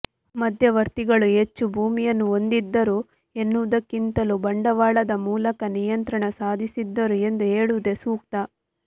ಮಧ್ಯವರ್ತಿಗಳು ಹೆಚ್ಚು ಭೂಮಿಯನ್ನು ಹೊಂದಿದ್ದರು ಎನ್ನುವುದಕ್ಕಿಂತಲೂ ಬಂಡವಾಳದ ಮೂಲಕ ನಿಯಂತ್ರಣ ಸಾಧಿಸಿದ್ದರು ಎಂದು ಹೇಳುವುದೇ ಸೂಕ್ತ